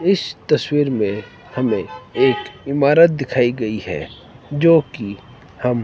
इस तस्वीर में हमें एक इमारत दिखाई गई है जो कि हम--